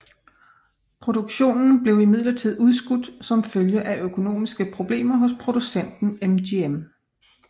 Produktionen blev imidlertid udskudt som følge af økonomiske problemer hos producenten MGM